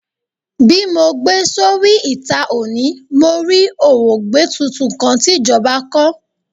Bi mo gbe sori ita oni, mo rí òwògbé tuntun kan ti ìjọba kọ.